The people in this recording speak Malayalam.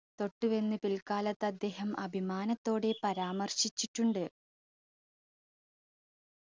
തൊട്ടുവെന്ന് പിൽക്കാലത്ത് അദ്ദേഹം അഭിമാനത്തോടെ പരാമർശിച്ചിട്ടുണ്ട്